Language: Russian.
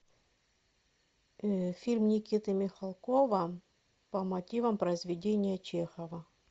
фильм никиты михалкова по мотивам произведения чехова